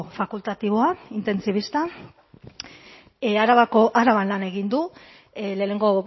fakultatiboa intentsibista araban lan egin du lehenengo